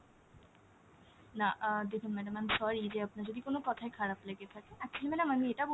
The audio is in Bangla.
না আহ দেখুন madam I'm sorry যে আপনার যদি কোনো কথায় খারাপ লেগে থাকে, actually madam আমি এটা বলতে চাইছি,